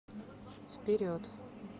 вперед